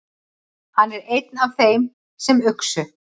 Hann er einn af þeim sem uxu.